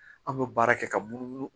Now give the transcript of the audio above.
An bɛ baara kɛ ka munu munumunu